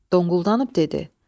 Donquldabüb dedi: